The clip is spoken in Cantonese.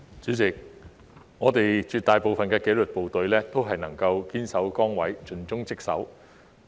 主席，我們絕大部分的紀律部隊人員都能夠堅守崗位，盡忠職守。